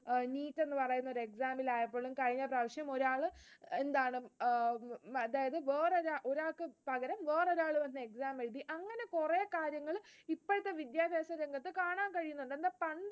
NEET എന്നുപറയുന്ന ഒരു exam ന് ആയാൽപോലും കഴിഞ്ഞ പ്രാവശ്യം ഒരാൾ എന്താണ് ആഹ് ഒരാൾക്ക് പകരം വേറൊരാൾ വന്നു എഴുതി. അങ്ങനെ കുറെ കാര്യങ്ങള് ഇപ്പോഴത്തെ വിദ്യാഭ്യാസ രംഗത്ത് കാണാൻ കഴിയുന്നുണ്ട്. എന്നാൽ പണ്ട്